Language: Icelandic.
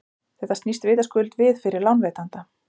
Þetta snýst vitaskuld við fyrir lánveitanda.